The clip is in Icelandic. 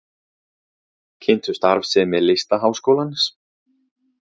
Kynntu starfsemi Listaháskólans